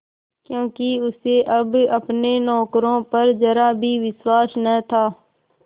क्योंकि उसे अब अपने नौकरों पर जरा भी विश्वास न था